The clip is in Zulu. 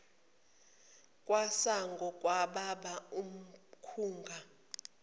kwesango kwababa umakhunga